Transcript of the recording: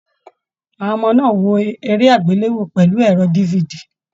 Àwọn ọmọ náà wò eré agbelewo pẹlu ẹrọ DVD.